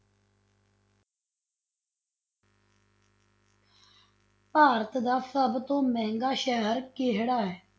ਭਾਰਤ ਦਾ ਸਭ ਤੋਂ ਮਹਿੰਗਾ ਸ਼ਹਿਰ ਕਿਹੜਾ ਹੈ?